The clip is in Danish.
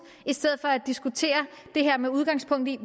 i stedet for at diskutere det her med udgangspunkt i